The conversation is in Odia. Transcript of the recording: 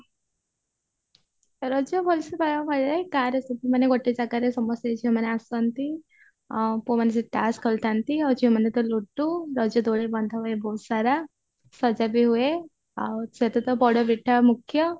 ରଜ ଭଲସେ ଗାଁରେ ମାନେ ଗୋଟେ ଜାଗାରେ ସମସ୍ତେ ଝିଅମାନେ ଆସନ୍ତି ଆଉ ପୁଅ ମାନେ ସବୁ ତାସ ଖେଳୁଥାନ୍ତି ଆଉ ଝିଅ ମାନେ ତ ଲୁଡୁ ରଜ ଦୋଳି ବନ୍ଧା ହୁଏ ବହୁତ ସାରା ସଜା ବି ହୁଏ ଆଉ ସେଇହତିରେ ତ ପୋଡ ପିଠା ମୁଖ୍ୟ